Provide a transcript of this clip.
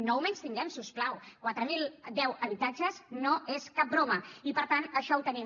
no ho menystinguem si us plau quatre mil deu habitatges no són cap broma i per tant això ho tenim